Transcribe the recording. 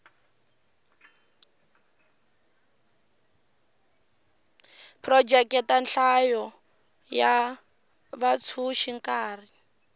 phurojeke nhlayo ya vatsundzuxi nkarhi